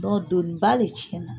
Dɔ doniba le cɛnna.